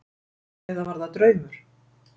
Eða var það draumur?